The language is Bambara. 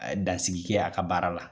A ye dansigi kɛ a ka baara la.